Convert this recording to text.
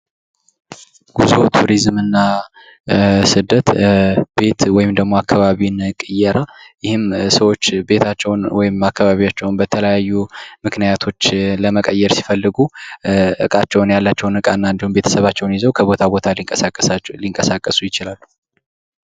ጉዙ ቱሪዝም እና ስደት ቤት ወይም ደግሞ አካባቢን ቅየራ ይህም ሰዎች ቤታቸውን ወይም አካባቢያቸውን በተለያዩ ምክንያቶች ለመቀየር ሲፈልጉ እቃቸውን ያላቸውን እቃ እና ቤተሰባቸውን ይዘው ከቦታ ቦታ ሊንቀሳቀሱ ይችላሉ።